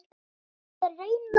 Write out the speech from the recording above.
Ég er að reyna það.